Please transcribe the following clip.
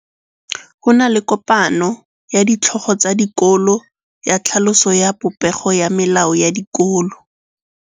Go na le kopanô ya ditlhogo tsa dikolo ya tlhaloso ya popêgô ya melao ya dikolo.